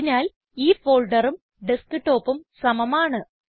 അതിനാൽ ഈ ഫോൾഡറും ഡസ്ക്ടോപ്പും സമമാണ്